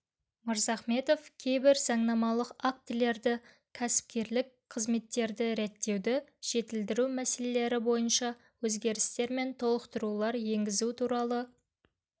мырзахметов кейбір заңнамалық актілеріне кәсіпкерлік қызметті реттеуді жетілдіру мәселелері бойынша өзгерістер мен толықтырулар енгізу туралы